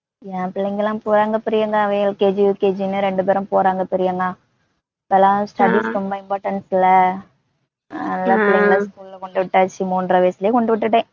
என் பிள்ளைங்கெல்லாம் போறாங்க பிரியங்கா அவங்க LKG UKG னு ரெண்டு பேரும் போறாங்க பிரியங்கா. இப்பலாம் studies ரொம்ப importance ல, அதுனால பிள்ளைங்கள school ல கொண்டுவிட்டாச்சு. மூன்றரை வயசுலே கொண்டுவிட்டுட்டேன்